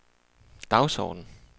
dagsorden